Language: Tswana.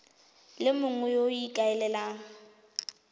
le mongwe yo o ikaelelang